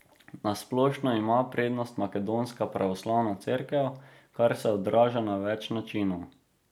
Na splošno ima prednost Makedonska pravoslavna cerkev, kar se odraža na več načinov.